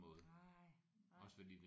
Nej nej